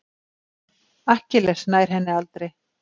Akkilles nær henni aldrei.